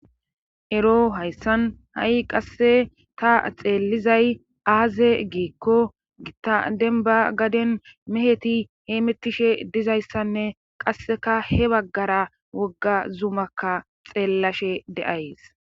ero hayssan ha7i qasse ta xeellizay aaze giikko gitta denba gaden meheti hee mettishe dizayssanne qasseka he baggara wogga zumakka xeellashe de7ays